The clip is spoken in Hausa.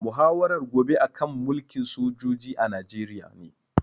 Muhawarar gobe a kan mulkin sojoji a Najeriya ne